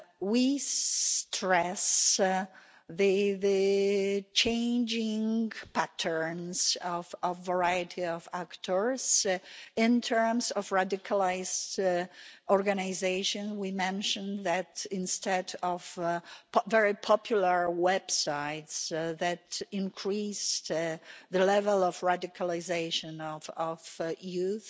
We stress the changing patterns of a variety of actors. In terms of radicalised organisation, we mentioned that, instead of very popular websites that increased the level of radicalisation of young